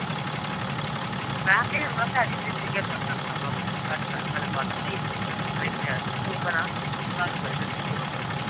ਮੈਂ ਕਿਹਾ ਕਰਦਾ ਵਾ ਸਾਡੇ ਨਾਲ ਨੀ ਗੱਲ ਕਰਦਾ ਸਹੀ ਚੰਗੀ ਭਲੀ ਗੱਲ